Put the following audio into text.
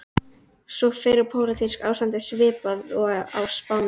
Sú fyrri: pólitískt ástand svipað og á Spáni.